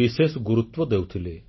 ବିଶେଷ ଗୁରୁତ୍ୱ ଦେଉଥିଲେ